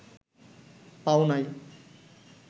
পাও নাই